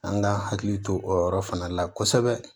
An ka hakili to o yɔrɔ fana la kosɛbɛ